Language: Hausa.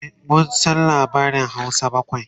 e mun San labarin Hausa bakwai